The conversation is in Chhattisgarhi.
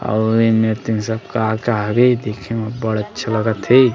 अऊ एमेर तीर सब का-का हरे देखे सब अब्बड़ अच्छा लगा थे।